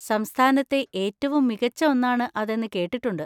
സംസ്ഥാനത്തെ ഏറ്റവും മികച്ച ഒന്നാണ് അതെന്ന് കേട്ടിട്ടുണ്ട്.